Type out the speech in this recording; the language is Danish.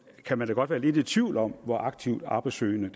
kan man da godt være lidt i tvivl om hvor aktivt arbejdssøgende